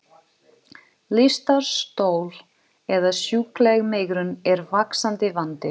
Lystarstol eða sjúkleg megrun er vaxandi vandi.